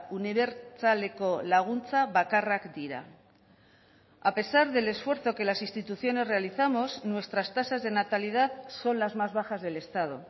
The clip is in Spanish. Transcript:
unibertsaleko laguntza bakarrak dira a pesar del esfuerzo que las instituciones realizamos nuestras tasas de natalidad son las más bajas del estado